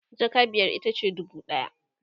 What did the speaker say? jaka biyar itace dubu ɗaya